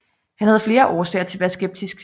Han havde flere årsager til at være skeptisk